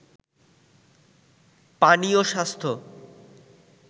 পানি ও স্বাস্থ্য